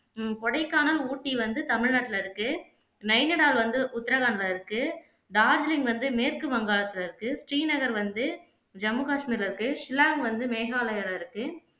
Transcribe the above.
உம் கொடைக்கானல் ஊட்டி வந்து தமிழ்நாட்டுல இருக்கு நைனடால் வந்து உத்ரகாண்ட்ல இருக்கு டார்ஜிலிங்க் வந்து மேற்கு வங்காளத்துல இருக்கு ஸ்ரீநகர் வந்து ஜம்மு காஷ்மீர்ல இருக்கு சில்லாங்க் வந்து மேகாலயால இருக்கு